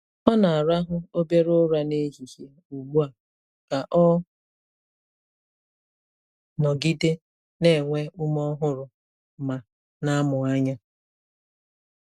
Ọ na-arahụ obere ụra n'ehihie ugbu a ka ọ nọgide na-enwe ume ọhụrụ ma na-amụ anya.